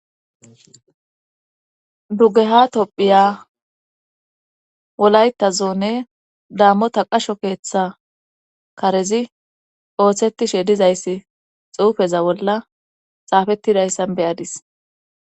Dugeha tophiya wolayta zoone dammota qasho keeththa karezi ooththetishe dizayssi xuufeza bolla xaafettidayssan beyadis